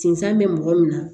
Sinzan be mɔgɔ min na